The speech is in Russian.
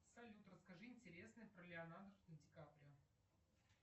салют расскажи интересное про леонардо ди каприо